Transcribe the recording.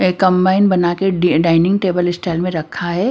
एक कंबाइन बना के डि डाइनिंग टेबल स्टाइल में रखा है।